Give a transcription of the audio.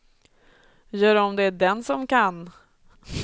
Gör om det den som kan.